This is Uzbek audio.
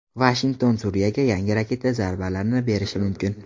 Vashington Suriyaga yangi raketa zarbalarini berishi mumkin.